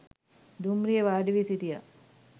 දුම්රියේ වාඩිවී සිටියා.